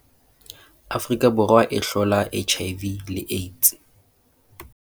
Afrika Borwa e hlola HIV le AIDS